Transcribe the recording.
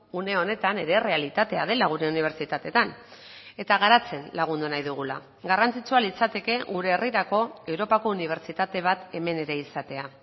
une honetan ere errealitatea dela gure unibertsitateetan eta garatzen lagundu nahi dugula garrantzitsua litzateke gure herrirako europako unibertsitate bat hemen ere izatea